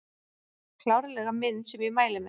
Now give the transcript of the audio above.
Klárlega mynd sem ég mæli með